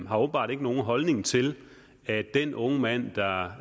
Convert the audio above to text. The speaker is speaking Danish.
har åbenbart ikke nogen holdning til at den unge mand der var